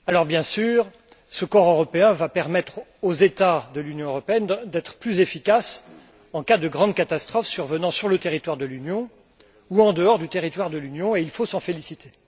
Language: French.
Bien sûr, ce corps européen va permettre aux États membres de l'Union européenne d'être plus efficaces en cas de grandes catastrophes survenant sur le territoire de l'Union ou en dehors du territoire de l'Union, et il faut s'en féliciter.